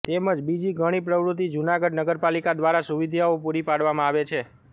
તેમજ બીજી ઘણી પ્રવૂતિ જુનાગઢ નગરપાલીકા દ્વારા સુવિધાઓ પુરી પાડવામાં આવે છે